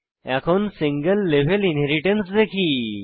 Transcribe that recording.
এখন single level inheritance দেখি